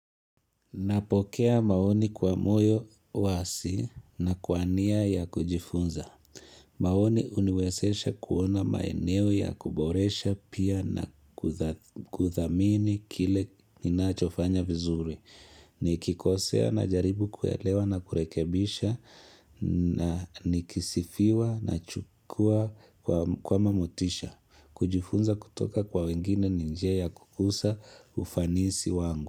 Napokea maoni kwa moyo wazi na kwa nia ya kujifunza. Maoni huniwezesha kuona maeneo ya kuboresha pia na kuthamini kile inachofanya vizuri. Ni kikosea na jaribu kuelewa na kurekebisha na nikisifiwa na chukua kama motisha. Kujifunza kutoka kwa wengine ni njia ya kukuza ufanisi wangu.